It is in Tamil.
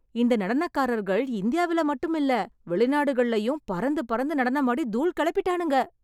இந்த நடனக்காரர்கள் இந்தியாவில் மட்டுமில்ல, வெளிநாடுகளிலேயும் பறந்து பறந்து நடனமாடி தூள் கெளப்பிட்டானுங்க.